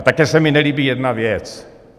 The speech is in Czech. A také se mi nelíbí jedna věc.